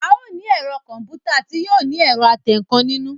A o ní ẹ̀rọ kọ̀m̀pútà tí yóò ní ẹ̀rọ atẹǹkan nínú